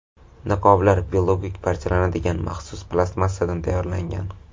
Niqoblar biologik parchalanadigan maxsus plastmassadan tayyorlangan.